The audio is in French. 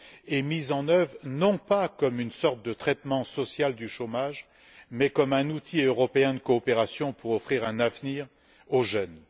et mis en oeuvre, non pas comme une sorte de traitement social du chômage, mais comme un outil européen de coopération pour offrir un avenir aux jeunes.